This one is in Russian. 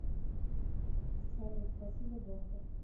салют спасибо доктор